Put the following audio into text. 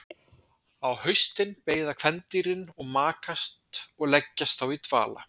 á haustin beiða kvendýrin og makast og leggjast þá í dvala